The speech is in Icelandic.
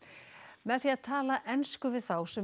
með því að tala ensku við þá sem